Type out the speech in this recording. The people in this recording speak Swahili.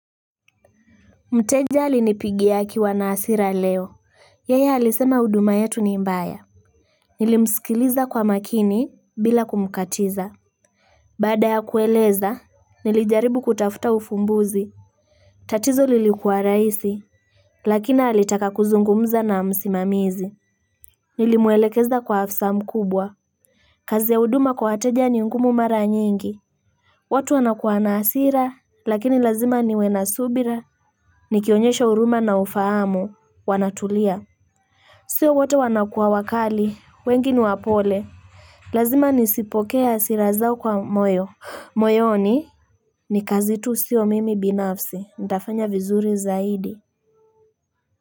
Mteja alinipigia akiwa na hasira leo Yeye alisema huduma yetu ni imbaya Nilimsikiliza kwa makini bila kumkatiza Baada ya kueleza Nilijaribu kutafuta ufumbuzi tatizo lilikuwa rahisi Lakina alitaka kuzungumza na msimamizi Nilimwelekeza kwa afisa mkubwa kazi ya huduma kwa wateja ni ngumu mara nyingi watu wanakuwa na hasira Lakini lazima niwena subira ni kionyesha huruma na ufahamu, wanatulia. Sio wote wanakuwa wakali, wengi ni wapole. Lazima nisipokee hasira zao kwa moyo. Moyoni, ni kazi tu sio mimi binafsi, ntafanya vizuri zaidi.